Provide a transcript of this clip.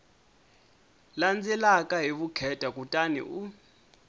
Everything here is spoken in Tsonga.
landzelaka hi vukheta kutani u